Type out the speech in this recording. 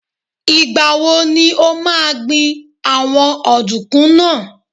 Ìgbà wo ni o máa gbìn àwọn ọ̀dùnkún náà?